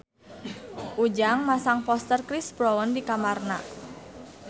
Ujang masang poster Chris Brown di kamarna